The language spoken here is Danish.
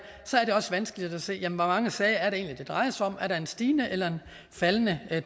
så er det også vanskeligt at se hvor mange sager det egentlig drejer sig om er der en stigende eller en faldende